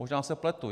Možná se pletu.